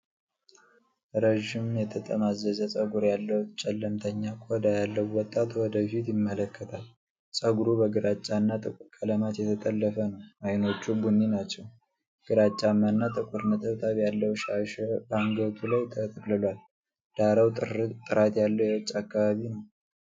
ረጅም የተጠማዘዘ ፀጉር ያለው ጨለምተኛ ቆዳ ያለው ወጣት ወደ ፊት ይመለከታል። ፀጉሩ በግራጫና ጥቁር ቀለማት የተጠለፈ ነው፣ አይኖቹ ቡኒ ናቸው። ግራጫማና ጥቁር ነጠብጣብ ያለው ሻሽ በአንገቱ ላይ ተጠቅልሏል። ዳራው ጥራት የሌለው የውጭ አካባቢ ነው።